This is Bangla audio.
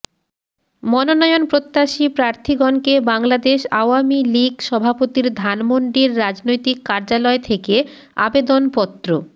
মনোনয়ন প্রত্যাশী প্রার্থীগণকে বাংলাদেশ আওয়ামী লীগ সভাপতির ধানমন্ডির রাজনৈতিক কার্যালয় থেকে আবেদনপত্র